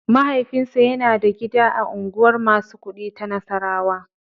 Mahaifinsa yana da gida a unguwar masu kuɗi ta Nassarawa.